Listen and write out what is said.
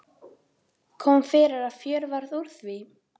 Kom fyrir að fjör varð úr því.